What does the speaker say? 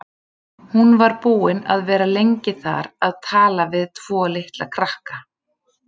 Hún var búin að vera lengi þar að tala við tvo litla krakka.